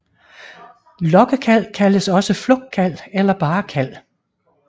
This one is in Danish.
Lokkekald kaldes også flugtkald eller bare kald